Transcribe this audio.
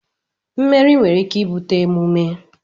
mmeri nwere ike ibute emume